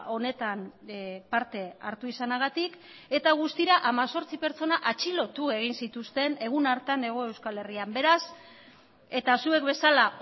honetan parte hartu izanagatik eta guztira hemezortzi pertsona atxilotu egin zituzten egun hartan hego euskal herrian beraz eta zuek bezala